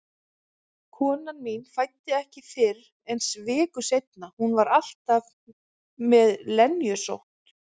Konan mín fæddi ekki fyrr en viku seinna, hún var alltaf með lenjusótt.